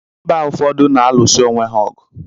Mba ụfọdụ na-alụsi onwe ha ọgụ.